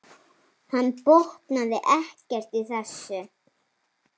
Hann botnaði ekkert í þessu.